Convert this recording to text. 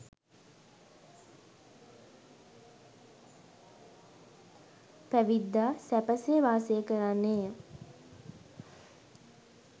පැවිද්දා සැපසේ වාසය කරන්නේය.